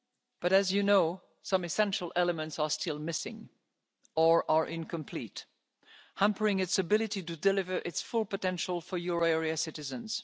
But as you know, some essential elements are still missing or are incomplete, hampering its ability to deliver its full potential for euro area